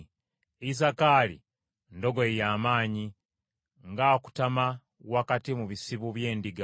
Isakaali ndogoyi ya maanyi, ng’akutama wakati mu bisibo by’endiga;